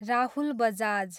Rahul Bajaj